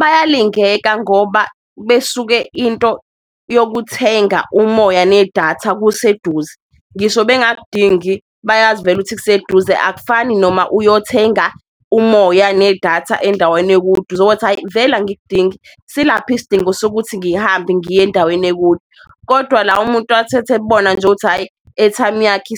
Bayalingeka ngoba besuke into yokuthenga umoya nedatha kuseduze, ngisho bengakudingi bayazi vele ukuthi kuseduze akufani noma uyothenga umoya nedatha endaweni ekude. Uzothi hhayi vele angikudingi silaphi isidingo sokuthi ngihambe ngiye endaweni ekude, kodwa la umuntu athethekubona nje ukuthi hhayi i-airtime yakhe,